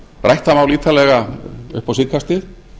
rætt það mál ítarlega upp á síðkastið